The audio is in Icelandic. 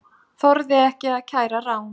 Þorði ekki að kæra rán